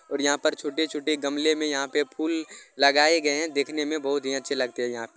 और यहां पे छोटे-छोटे गमले मे यहां पे फूल लगाए गए है देखने मे बहुत ही अच्छे लगते है यहां पे --